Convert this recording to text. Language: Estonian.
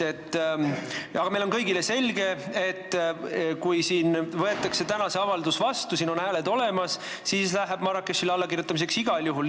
Aga meile kõigile on selge, et kui siin võetakse täna see avaldus vastu, siin on hääled olemas, siis läheb Marrakechis allakirjutamiseks igal juhul.